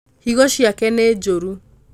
higo ciake nĩ njũru